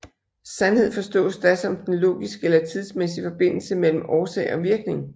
Sandhed forstås da som den logiske eller tidsmæssige forbindelse mellem årsag og virkning